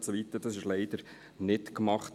Und so weiter – dies wurde leider nicht gemacht.